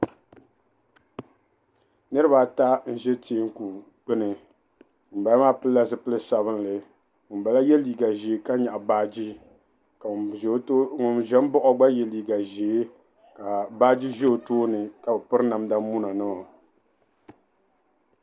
Niriba ata n ʒi teeku gbuni ŋuni bala maa pilila zupil'sabila ka ŋuni bala ye liiga ʒee ka nyaɣi baaje ka ŋuni ʒin baɣi o kpa ye liiga ʒee ka baaje ʒi o tooni ka o piri namda muna nima.